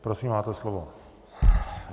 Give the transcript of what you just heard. Prosím, máte slovo.